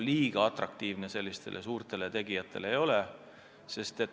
Kuigi atraktiivne see suurte tegijate silmis ei ole.